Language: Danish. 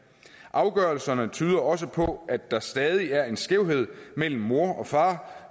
afgørelserne tyder også på at der stadig er en skævhed mellem mor og far